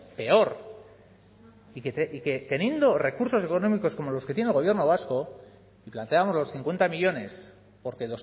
peor y que teniendo recursos económicos como los que tiene el gobierno vasco y planteábamos porque